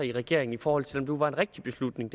i regeringen i forhold til nu var en rigtig beslutning